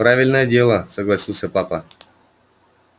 правильное дело согласился папа